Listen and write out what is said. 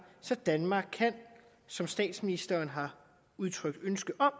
så danmark som statsministeren har udtrykt ønske om